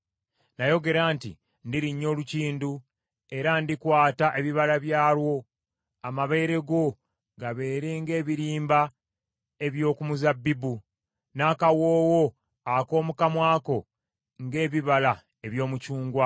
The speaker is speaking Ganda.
Nayogera nti, “Ndirinnya olukindu, era ndikwata ebibala byalwo.” Amabeere go gabeere ng’ebirimba eby’oku muzabbibu, n’akawoowo ak’omu kamwa ko ng’ebibala eby’omucungwa